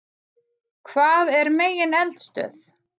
Hvað er megineldstöð?